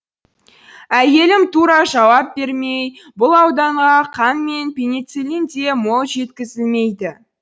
әйелім тура жауап бермей бұл ауданға қан мен пенициллин де мол жеткізілмейді